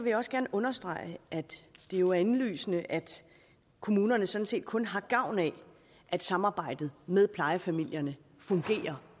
jeg også gerne understrege at det jo er indlysende at kommunerne sådan set kun har gavn af at samarbejdet med plejefamilierne fungerer